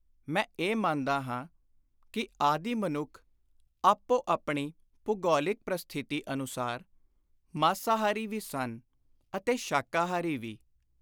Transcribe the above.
ਮੈਂ ਇਹ ਮੰਨਦਾ ਹਾਂ ਕਿ ਆਦਿ ਮਨੁੱਖ ਆਪੋ ਆਪਣੀ ਭੂਗੋਲਿਕ ਪ੍ਰਸਥਿਤੀ ਅਨੁਸਾਰ ਮਾਸਾਹਾਰੀ ਵੀ ਸਨ ਅਤੇ ਸ਼ਾਕਾਹਾਰੀ ਵੀ।